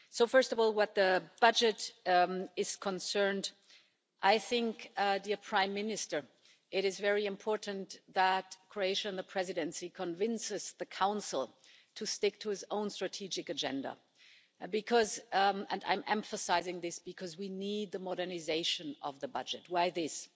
First of all, where the budget is concerned, I think, dear Prime Minister, it is very important that Croatia and the Presidency convinces the Council to stick to its own strategic agenda, because and I'm emphasising this we need the modernisation of the budget, why this?